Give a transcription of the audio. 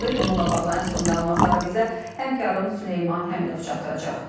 Bununla bağlı ən son məlumatları bizə həmkarım Süleyman Həmidov çatdıracaq.